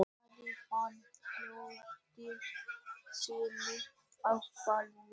Ari fann hjartað slá ákaflega.